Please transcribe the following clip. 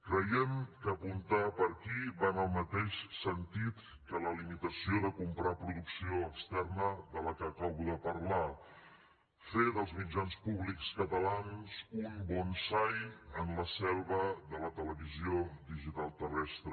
creiem que apuntar per aquí va en el mateix sentit que la limitació de comprar producció externa de què acabo de parlar fer dels mitjans públics catalans un bonsai en la selva de la televisió digital terrestre